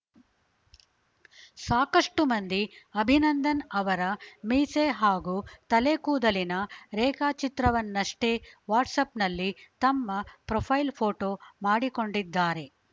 ಸಾಕಷ್ಟುಮಂದಿ ಅಭಿನಂದನ್‌ ಅವರ ಮೀಸೆ ಹಾಗೂ ತಲೆಕೂದಲಿನ ರೇಖಾಚಿತ್ರವನ್ನಷ್ಟೇ ವಾಟ್ಸ್‌ಆ್ಯಪ್‌ನಲ್ಲಿ ತಮ್ಮ ಪ್ರೊಫೈಲ್‌ ಫೋಟೋ ಮಾಡಿಕೊಂಡಿದ್ದಾರೆ